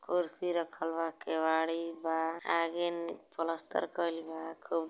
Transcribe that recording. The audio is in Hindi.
कुर्सी रखल बा केवाड़ी बा आगे प्लस्तर कईल बा |--